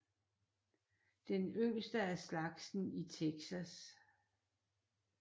Den yngste af slagsen i Texas